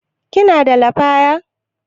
Kina da lafaya?